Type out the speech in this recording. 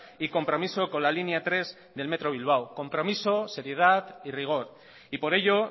y compromiso con la línea tres del metro bilbao compromiso seriedad y rigor y por ello